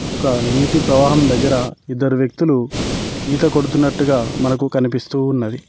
ఒక నీటి ప్రవాహం దగ్గర ఇద్దరు వ్యక్తులు ఈత కొడుతున్నట్టుగా మనకు కనిపిస్తూ ఉన్నది.